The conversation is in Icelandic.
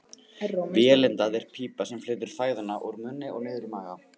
Vélindað er pípa sem flytur fæðuna úr munni og niður í maga.